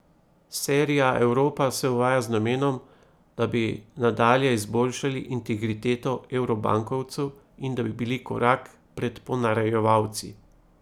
Serija Evropa se uvaja z namenom, da bi nadalje izboljšali integriteto evrobankovcev in da bi bili korak pred ponarejevalci.